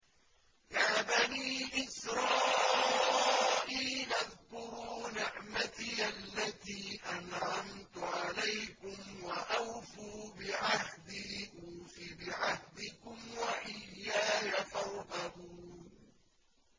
يَا بَنِي إِسْرَائِيلَ اذْكُرُوا نِعْمَتِيَ الَّتِي أَنْعَمْتُ عَلَيْكُمْ وَأَوْفُوا بِعَهْدِي أُوفِ بِعَهْدِكُمْ وَإِيَّايَ فَارْهَبُونِ